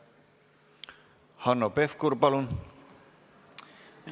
Hanno Pevkur, palun!